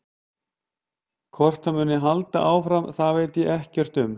Hvort það muni halda áfram það veit ég ekkert um.